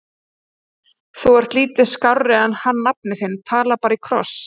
Þú ert lítið skárri en hann nafni þinn, talar bara í kross!